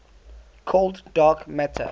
cold dark matter